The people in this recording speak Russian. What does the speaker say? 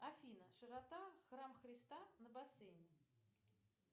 афина широта храм христа на бассейне